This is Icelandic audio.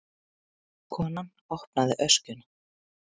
Konan opnaði öskjuna.